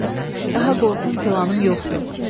Daha qorxum filanım yoxdu.